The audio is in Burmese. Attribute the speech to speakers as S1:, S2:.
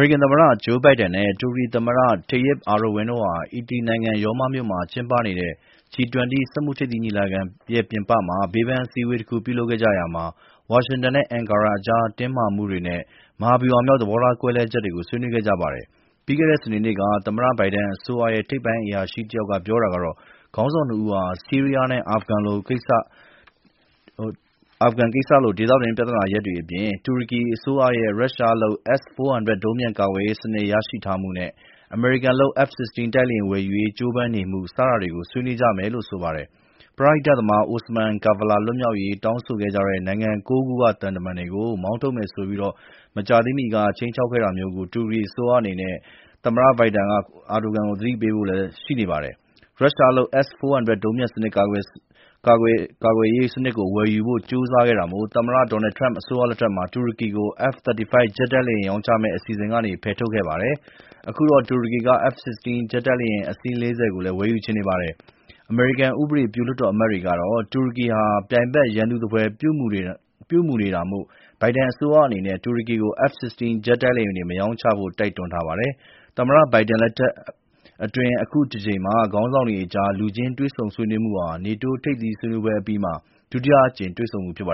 S1: ရိကန်သမ္မတ Joe Biden နဲ့ တူရကီသမ္မတ Tayyip Erdogan တို့ဟာ အီတလီနိုင်ငံ ရောမမြို့မှာ ကျင်းပနေတဲ့ G-20 စက်မှုထိပ်သီး ညီလာခံရဲ့ ပြင်ပမှာ ဘေးပန်းအစည်းအဝေးတခု ပြုလုပ်ခဲ့ကြရာမှာ ဝါရှင်တန်နဲ့ အန်ကာရာအကြား တင်းမာမှုတွေနဲ့ မဟာဗျူဟာမြောက် သဘောထားကွဲလွဲချက်တွေကို ဆွေးနွေးခဲ့ကြပါတယ်။ ပြီးခဲ့တဲ့ စနေနေ့က သမ္မတ Biden အစိုးရရဲ့ ထိပ်ပိုင်းအရာရှိတယောက်က ပြောတာကတော့ ခေါင်းဆောင် ၂ ဦးဟာ ဆီးရီးယားနဲ့ အာဖဂန်ကိစ္စလို ဒေသတွင်း ပြဿနာရပ်တွေအပြင် တူရကီအစိုးရရဲ့ ရုရှားလုပ် S-400 ဒုံးပျံကာကွယ်ရေးစနစ် ရရှိထားမှုနဲ့ အမေရိကန်လုပ် F-16 တိုက်လေယာဉ်ဝယ်ယူရေး ကြိုးပမ်းနေမှု စတာတွေကို ဆွေးနွေးကြမယ်လို့ ဆိုပါတယ်။ တူရကီအနေနဲ့ ပရဟိတသမား Osman Kavala လွတ်မြောက်ရေး တောင်းဆိုခဲ့ကြတဲ့ နိုင်ငံ ၉ ခုက သံတမန်တွေကို မကြာသေးမီက မောင်းထုတ်မယ်ဆိုပြီး ခြိမ်းခြောက်တာမျိုးကို ရှောင်ရှားဖို့ သမ္မတ Biden အနေနဲ့ Erdogan ကို သတိပေးဖို့လည်း ရှိနေပါတယ်။ ရုရှားလုပ် S-400 ဒုံးပျံကာကွယ်ရေးစနစ် ဝယ်ယူဖို့ ကြိုးစားခဲ့တာမို့ ၂၀၁၉ သမ္မတ Donald Trump အစိုးရလက်ထက်မှာ တူရကီကို F-35 ဂျက်တိုက်လေယာဉ် ရောင်းချမယ့် အစီအစဉ်က ဖယ်ထုတ်ခဲ့ပါတယ်။ အခုတော့ တူရကီက F-16 ဂျက်တိုက်လေယာဉ် အစင်း ၄၀ ဝယ်ယူချင်နေပါတယ်။ အမေရိကန် ဥပဒေပြု လွှတ်တော်အမတ်တွေကတော့ တူရကီဟာ ပြိုင်ဘက် ရန်သူသဖွယ် ပြုမူနေတာမို့ Biden အစိုးရအနေနဲ့ တူရကီကို F-16 ဂျက်တိုက်လေယာဉ်တွေ မရောင်းချဖို့ တိုက်တွန်းထားပါတယ်။ သမ္မတ Biden လက်ထက်အတွင်း အခုတကြိမ် ခေါင်းဆောင်တွေအကြား လူချင်းတွေ့ဆုံ ဆွေးနွေးမှုဟာ နေတိုး ထိပ်သီးဆွေးနွေးပွဲအပြီး ဒုတိယအကြိမ် တွေ့ဆုံမှု ဖြစ်ပါ